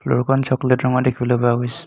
ফ্ল'ৰখন chocolate ৰঙৰ দেখিবলৈ পোৱা গৈছে।